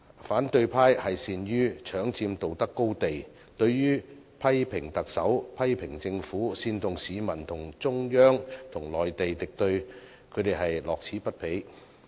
反對派善於搶佔道德高地，對於批評特首，批評政府，煽動市民與中央與內地敵對，他們都樂此不疲。